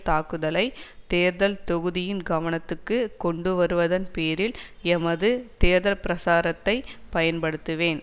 தாக்குதலை தேர்தல் தொகுதியின் கவனத்துக்கு கொண்டுவருவதன் பேரில் எமது தேர்தல் பிரச்சாரத்தை பயன்படுத்துவேன்